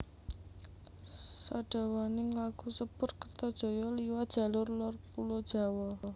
Sadawaning laku sepur Kertajaya liwat jalur lor pulo Jawa